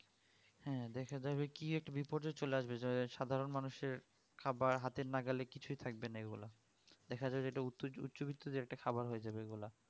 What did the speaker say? হ্যাঁ দেখা যাবে কি একটা কি বিপর্যায়ে চলে আসবে যা সাধারণ মানুষের খাবার হাতের নাগালে কিছু থাকবে না এইগুলো দেখা যাবে যেইটা উচ্চবিত্ত যে একটা খাবার হয়ে যাবে এইগুলা